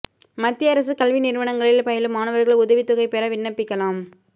மத்திய அரசு கல்வி நிறுவனங்களில் பயிலும் மாணவா்கள் உதவித் தொகை பெற விண்ணப்பிக்கலாம்